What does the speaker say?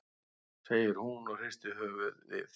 segir hún og hristir höfuðið.